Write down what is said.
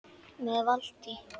Með Valtý